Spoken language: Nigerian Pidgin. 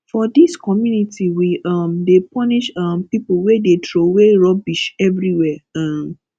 for dis community we um dey punish um pipo wey dey troway rubbish everywhere um